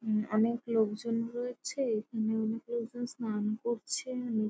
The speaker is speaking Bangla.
উম অনেক লোকজন রয়েছে। এখানে অনেক লোকজন স্নান করছে। অনেক--